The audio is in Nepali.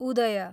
उदय